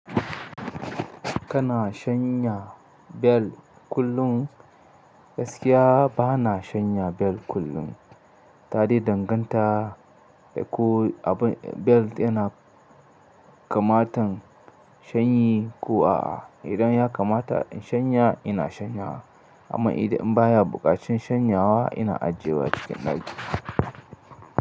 Kana shanya bel kullum? Gaskiya bana shan ya bel kullum, taɗai danganta da ko bel yana kamatan shanyi ko a'a. Idan ya kamata in shanya, ina shanyawa amma idan baya buƙatar shanyawa ina ajiyewa cikin daki.